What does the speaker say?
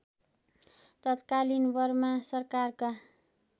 तत्कालीन बर्मा सरकारका